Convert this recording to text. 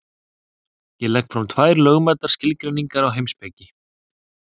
Ég legg fram tvær lögmætar skilgreiningar á heimspeki.